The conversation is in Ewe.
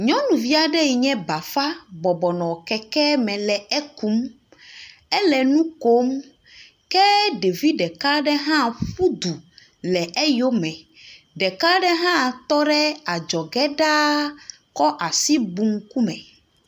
Nyɔnuvi aɖe yi nye bafa bɔbɔ nɔ kekeme le ekum. Ele nu kom. Ke ɖevi ɖeka aɖe hã ƒu du le eyome. Ɖeka aɖe hã tɔ ɖe adzɔge ɖaa kɔ asi bu ŋkume.